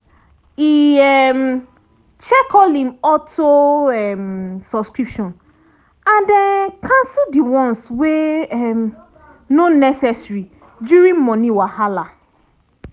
e um check all him auto-subscription and um cancel the ones wey um no necessary during money wahala